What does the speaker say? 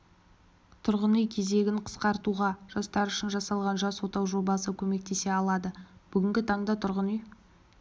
тұрғын үй кезегін қысқартуға жастар үшін жасалған жас отау жобасы көмектесе алады бүгінгі таңда тұрғын үй